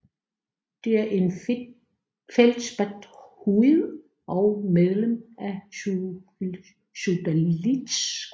Det er en feldspathoid og medlem af sodalitgruppen